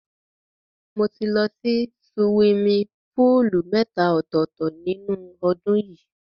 Mo ti lọ sí siwimi póòlù mẹ́ta ọ̀tọ̀ọ̀tọ̀ nínú ọdún yìí.